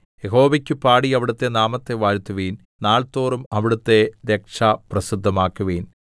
യഹോവയ്ക്കു പാടി അവിടുത്തെ നാമത്തെ വാഴ്ത്തുവിൻ നാൾതോറും അവിടുത്തെ രക്ഷ പ്രസിദ്ധമാക്കുവിൻ